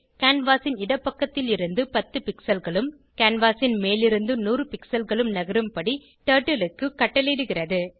canvas ன் இடப்பக்கத்திலிருந்து 10 pixelகளும் கேன்வாஸ் ன் மேலிருந்து 100 பிக்ஸல் களும் நகரும் படி டர்ட்டில் க்கு கட்டளையிடுகிறது